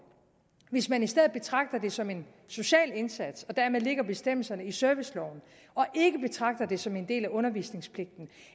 hvis man i stedet betragter det som en social indsats og dermed lægger bestemmelserne i serviceloven og ikke betragter det som en del af undervisningspligten